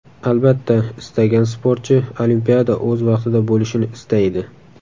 Albatta, istalgan sportchi Olimpiada o‘z vaqtida bo‘lishini istaydi.